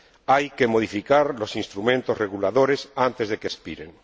Hay que modificar los instrumentos reguladores antes de que expiren.